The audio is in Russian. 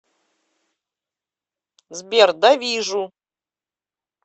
сбер да вижу